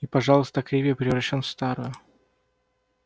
и пожалуйста криви превращён в старую